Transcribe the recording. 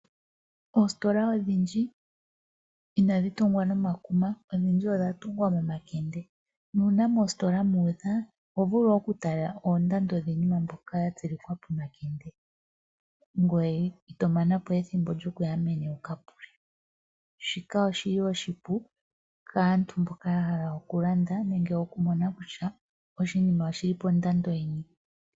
Oositola odhindji inadhi tungwa nomakuma, ihe odhindji odha tungwa nomasipili nuuna moositola mu udha oho vulu okutala oondando dhiinima mbyoka ya tsilikwa pomakende, ngoye ito mana po ethimbo nokuya meni wu ka pule. Shika oshipu kaantu mboka ya hala okulanda nenge okumona kutya oshinima oshi li pondando yini.